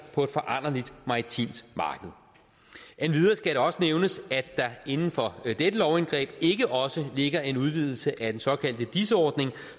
på et foranderligt maritimt marked endvidere skal jeg også nævne at der inden for dette lovindgreb ikke også ligger en udvidelse af den såkaldte dis ordning